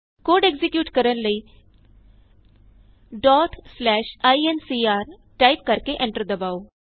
code execute ਕਰਨ ਲਈ incr type ਕਰਕੇ ਐਂਟਰ ਦਬਾਉ